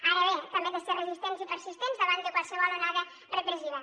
ara bé també hem de ser resistents i persistents davant de qualsevol onada repressiva